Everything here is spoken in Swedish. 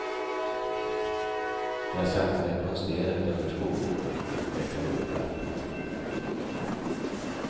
Jag satte mig på en sten utanför skolgården och vecklade upp lappen.